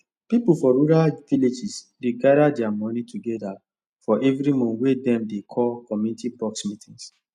people for rural villages dey gather their money together for every month wey dem dey call community box meetings